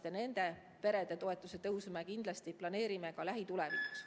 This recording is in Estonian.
Ja ka nende perede toetuse tõusu me kindlasti planeerime lähitulevikus.